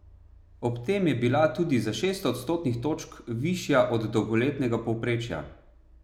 Ob tem je bila tudi za šest odstotnih točk višja od dolgoletnega povprečja.